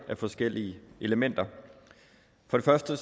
forskellige elementer for det første